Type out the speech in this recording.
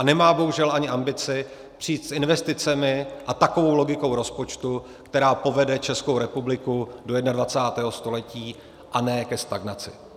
A nemá bohužel ani ambici přijít s investicemi a takovou logikou rozpočtu, která povede Českou republiku do 21. století a ne ke stagnaci.